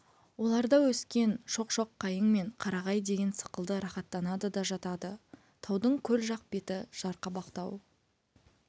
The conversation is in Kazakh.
оларда өскен шоқ-шоқ қайың мен қарағай деген сықылды рахаттанады да жатады таудың көл жақ беті жарқабақтау